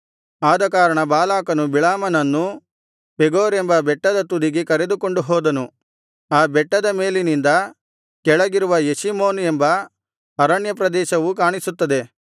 ಆದಕಾರಣ ಬಾಲಾಕನು ಬಿಳಾಮನನ್ನು ಪೆಗೋರ್ ಎಂಬ ಬೆಟ್ಟದ ತುದಿಗೆ ಕರೆದುಕೊಂಡು ಹೋದನು ಆ ಬೆಟ್ಟದ ಮೇಲಿನಿಂದ ಕೆಳಗಿರುವ ಯೆಷೀಮೋನ್ ಎಂಬ ಅರಣ್ಯಪ್ರದೇಶವು ಕಾಣಿಸುತ್ತದೆ